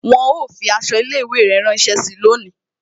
Wọn ó fi aṣọ ilé ìwé rẹ ránsẹ́ síi lónìí